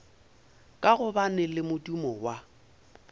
ka gobane le modumo wa